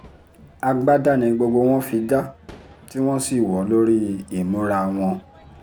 agbada ni gbogbo wọn fi dá tí wọ́n sì wọ́ ọ lórí ìmúra wọn